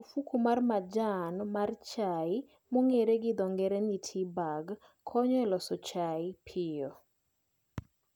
Ofuko mar majan mar chai mong'ere gi dho ng'ere ni "tea bag" konyo e loso chai piyo